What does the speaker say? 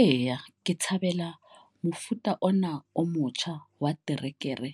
Eya, ke thabela mofuta ona o motjha wa terekere